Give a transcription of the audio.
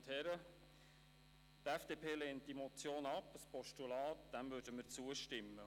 Einem Postulat würden wir zustimmen.